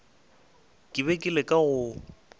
ke be ke leka go